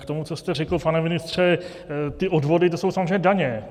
K tomu, co jste řekl, pane ministře, ty odvody, to jsou samozřejmě daně.